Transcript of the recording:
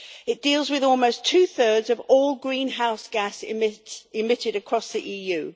It deals with almost two thirds of all greenhouse gases emitted across the EU.